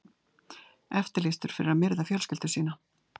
Eftirlýstur fyrir að myrða fjölskyldu sína